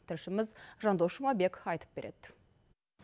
тілшіміз жандос жұмабек айтып береді